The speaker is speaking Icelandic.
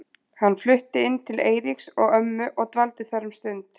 Hann flutti inn til Eiríks og ömmu og dvaldi þar um stund.